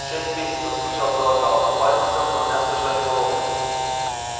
шесть месяцев вскричал было гаал но пальцы сэлдона мягко сжали его локоть